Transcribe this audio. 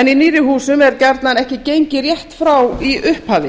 en í nýrri húsum er gjarnan ekki gengið rétt frá í upphafi